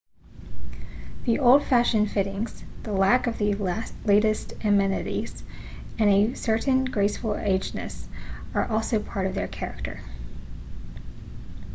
the old fashioned fittings the lack of the latest amenities and a certain graceful agedness are also part of their character